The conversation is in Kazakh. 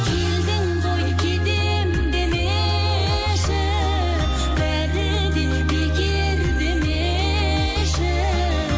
келдің ғой кетемін демеші бәрі де бекер демеші